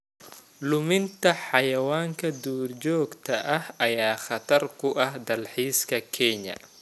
Luminta xayawaanka duurjoogta ah ayaa khatar ku ah dalxiiska Kenya.